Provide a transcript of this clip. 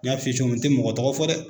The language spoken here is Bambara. N y'a f'i ye mɔgɔ min n te mɔgɔ tɔgɔ fɔ dɛ